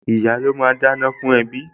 Ìyá́ ló máa ń dáná fún ẹbí